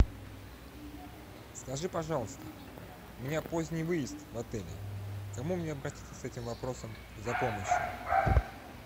скажи пожалуйста у меня поздний выезд в отеле к кому мне обратиться с этим вопросом за помощью